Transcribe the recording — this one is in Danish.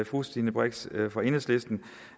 fru stine brix fra enhedslisten